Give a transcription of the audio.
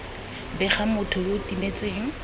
bega motho yo o timetseng